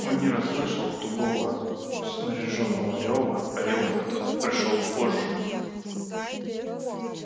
он не расслышал тугого снаряжённого рёва рёв этот пришёл позже